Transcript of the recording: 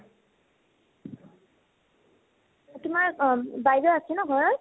তোমাৰ বাইদেও আছে ন ঘৰ ত ?